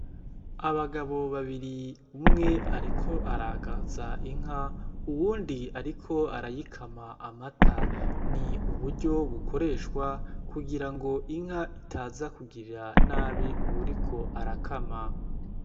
Abagabo babiri, umwe ariko aragaza inka uwundi ariko arayikama amata, ni uburyo bukoreshwa kugira ngo inka itaza kugirira nabi uwuriko arakama.